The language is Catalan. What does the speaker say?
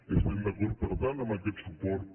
estem d’acord per tant amb aquest suport